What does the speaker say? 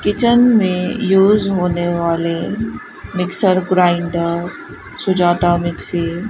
kitchen में use होने वाले मिक्सर ग्राइंडर सुजाता मिक्सी --